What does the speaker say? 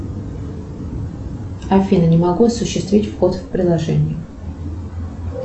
афина не могу осуществить вход в приложение